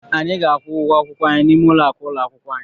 Anyị ga-akwụ ụgwọ akwụkwọ anyị n'ime ụlọakụ ụlọ akwụkwọ anyị.